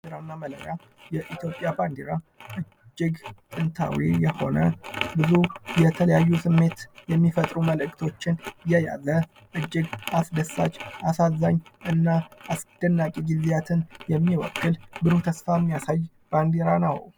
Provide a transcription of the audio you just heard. ባንዲራ እና መለያ የኢትዮጵያ ባንዲራ እጅግ ጥንታዊ የሆነ ብዙ የተለያዩ ስሜት የሚፈጥሩ መልክቶችን የያዘ እጅግ አስደሳች አሳዛኝ እና አስደናቂ ጊዜያትን የሚወክል ብሩህ ተስፋ የሚያሳይ ባንዲራ ነው::